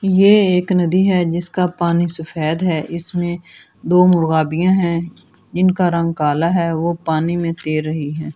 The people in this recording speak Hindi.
ये एक नदी है जिसका पानी सफेद है इसमें दो मुर्गा भी हैं इनका रंग काला है वो पानी में तैर रही है।